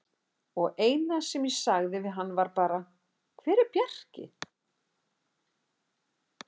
Og eina sem ég sagði við hann var bara: Hver er Bjarki?